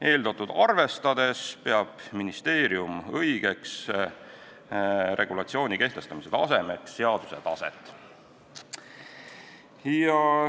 Eeltoodut arvestades peab ministeerium õigeks regulatsiooni kehtestamise tasemeks seaduse taset.